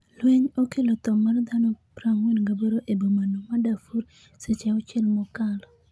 lweny okelo tho mar dhano 48 e bomano ma Darfur seche auchiel mokalo